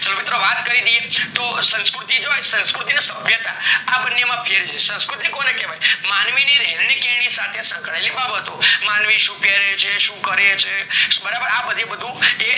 તો મિત્રો વાત કાય દિયે તો સંસ્કૃતિ ને સભ્યતા આ બંને માં ફેર છે સંસ્કૃતિ કોને કેવાય માનવી ની રેની કેણી ની સાથે સંકળાયેલી બાબતો માનવી શું પેરે છે શું કરે છે બરાબર આ બધું